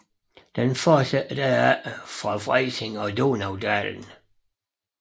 Den fortsætter derefter fra Freising mod Donaudalen